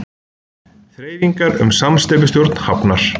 Þreifingar um samsteypustjórn hafnar